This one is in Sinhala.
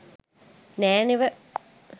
නෑ නෙව.